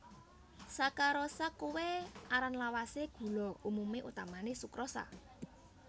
Sakarosa kuwé aran lawasé gula umumé utamané sukrosa